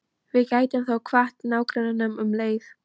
Við gætum þá kvatt nágrannana um leið.